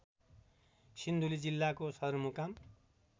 सिन्धुली जिल्लाको सदरमुकाम